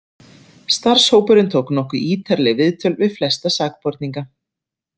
Starfshópurinn tók nokkuð ítarleg viðtöl við flesta sakborningana.